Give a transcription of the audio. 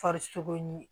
Farisoko ɲini